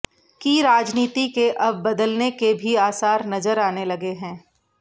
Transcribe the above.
की राजनीति के अब बदलने के भी आसार नजर आने लगे हैं